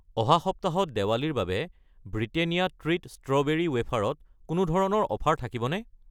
অহা সপ্তাহত দেৱালীৰ বাবে ব্ৰিটেনিয়া ট্ৰীট ষ্ট্ৰবেৰী ৱেফাৰ ত কোনো ধৰণৰ অফাৰ থাকিব নে?